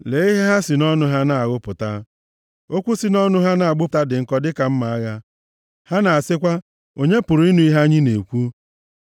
Lee ihe ha si nʼọnụ ha na-aghụpụta, okwu si nʼọnụ ha na-agbụpụta dị nkọ dịka mma agha, ha na-asịkwa, “Onye pụrụ ịnụ ihe anyị na-ekwu?”